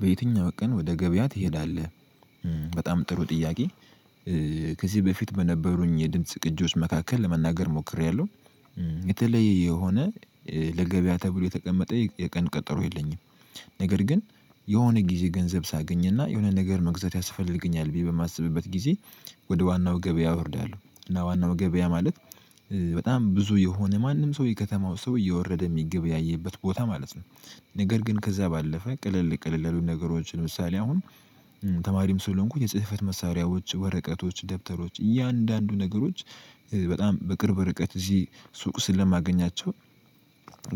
በየትኛው ቀን ወደ ገበያ ትሄዳለህ? በጣም ጥሩ ጥያቄ ከዚህ በፊት በነበሩኝ የድምጽ ቅጆች መካከል ለመናገር ሞክሬያለሁ። የተለየ የሆነ ለገበያ ተብሎ የተቀመጠ የቀን ቀጠሮ የለኝም። ነገር ግን የሆነ ጊዜ ገንዘብ ሳገኝና የሆነ ነገር መግዛት ያስፈልገኛል ብዬ በማስብበት ጊዜ ወደ ዋናው ገበያ አወርዳለሁ እና ዋናው ገበያ ማለት በጣም ብዙ የሆነ ማንም ሰው የከተማው ሰው እየወረደ የሚገበያየበት ቦታ ማለት ነው። ነገር ግን ከዛ ባለፈ ቅልል ቅልል ነገሮችን ለምሳሌ አሁን ተማሪም ስለሆንኩ የጽህፈት መሳሪያዎች ወረቀቶች ደብተሮች እያንዳንዱ ነገሮች በጣም በቅርብ ርቀት እዚህ ሱቅ ስለማገኛቸው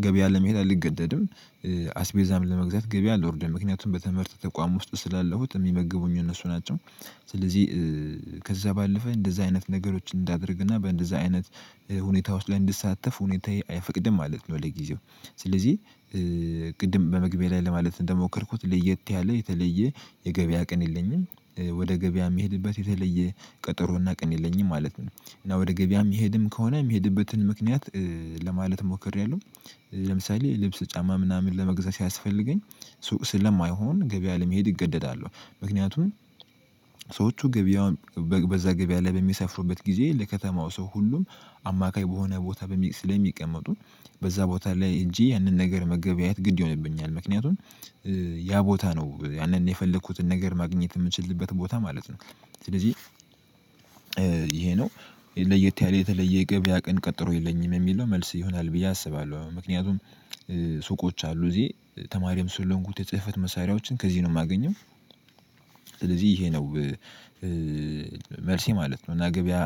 ገበያ ለመሄድ አልገደድም። አስቤዛም ለመግዛት ገበያ አልወርደም ምክንያቱም በትምህርት ተቋም ውስጥ ስላለሁት የሚመግቡኝ እነሱ ናቸው። ስለዚህ ከዛ ባለፈ እንደዛ አይነት ነገሮችን እንዳደርግና በእንደዛ አይነት ሁኔታ ውስጥ ላይ እንዲሳተፍ ሁኔታዬ አይፈቅድም ማለት ነው። ለጊዜው ስለዚህ ቅድም በመግቢያ ላይ ለማለት ነው እንደሞከርኩት ለየት ያለ የተለየ የገበያ ቅን የለኝም ወደ ገበያ የሚሄድበት የተለየ ቀጠሮና ቀን የለኝም ማለት ነው እና ወደ ገበያም የምሄድም ከሆነ የምሄድበትን ምክንያት ለማለት ሞክሬያለሁ። ለምሳሌ ልብስ ጫማ ምናምን ለመግዛት ሲያስፈልገኝ ሱቅ ስለማይሆን ገበያ ለመሄድ እገደዳለሁ ምክንያቱም ገበያውን በዛ ገበያ ላይ በሚሰፍሩበት ጊዜ ለከተማው ሰው ሁሉም አማካይ በሆነ ቦታ ስለሚቀመጡ በዛ ቦታ ላይ እንጂ ያንን ነገር መገበያየት ግድ ይሆንብኛል ምክንያቱም ያ ቦታ ነው ያንን የፈለኩትን ነገር ማግኘት የምችልበት ቦታ ማለት ነው። ስለዚህ ይሄ ነው ለየት ያለ የተለየ ገበያ ቀን ቀጠሮ የለኝም የሚል ነው መልስ ይሆናል ብዬ አስባለሁ ምክንያቱም ሱቆች አሉ እዚህ ተማሪም ስለሆንኩት የጽህፈት መሳሪያዎችን ከዚህ ነው የማገኘው። ስለዚህ ይሄ ነው መልሴ ማለት ነው እና ገበያ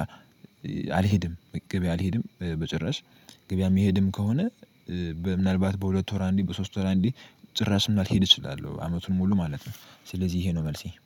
አልሄድም። ገበያ አልሄድም በጭራሽ ገበያ የምሄድም ከሆነ ምናልባት በሁለት ወር አንዴ በሶስት ወር አንዴ ጭራሽ የማልሄድ እችላለሁ። አመቱን ሙሉ ማለት ነው ስለዚህ ይሄ ነው መልሴ